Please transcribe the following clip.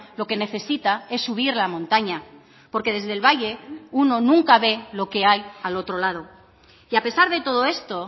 lo que necesita es subir la montaña porque desde el valle uno nunca ve lo que hay al otro lado y a pesar de todo esto